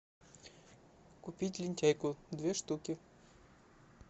купить лентяйку две штуки